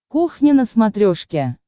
кухня на смотрешке